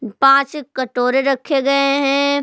पाँच कटोरे रखे गए हैं।